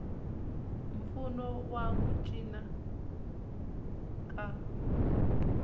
mpfuno wa ku cinca ka